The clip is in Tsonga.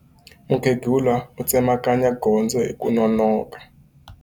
Mukhegula u tsemakanya gondzo hi ku nonoka.